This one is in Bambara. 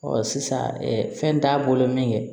sisan fɛn t'a bolo min kɛ